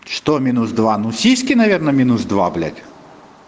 что минус два ну сиськи наверное минус два блять